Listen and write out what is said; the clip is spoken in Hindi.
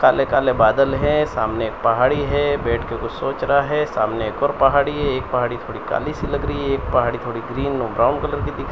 काले काले बादल हैं सामने एक पहाड़ी है बैठ के कुछ सोच रहा है सामने एक और पहाड़ी है एक पहाड़ी थोड़ी काली सी लग रही है एक पहाड़ी थोड़ी ग्रीन और ब्राउन कलर की दिख --